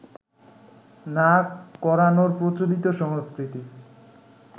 না করানোর প্রচলিত সংস্কৃতি